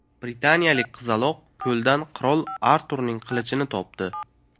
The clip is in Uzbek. Britaniyalik qizaloq ko‘ldan qirol Arturning qilichini topdi.